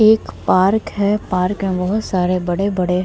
एक पार्क है पार्क में बहुत सारे बड़े-बड़े --